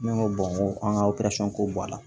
Ne ko ko an ka ko b'a la